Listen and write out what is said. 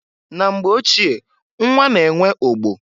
Na mgbe ochie nnwa na enwe ogbo.